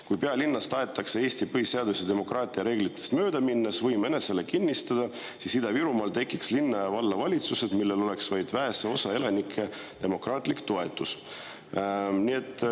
Kui pealinnas tahetakse Eesti põhiseadusest ja demokraatia reeglitest mööda minnes võim enesele kinnistada, siis Ida-Virumaal tekiks linna- ja vallavalitsused, millel oleks vaid vähese osa elanike demokraatlik toetus.